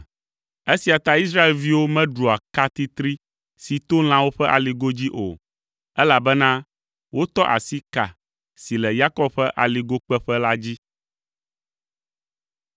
Esia ta Israelviwo meɖua ka titri si to lãwo ƒe aligo dzi o, elabena wotɔ asi ka si le Yakob ƒe aligokpeƒe la dzi.